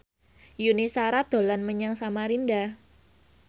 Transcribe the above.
Yuni Shara dolan menyang Samarinda